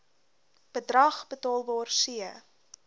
bedrag betaalbaar c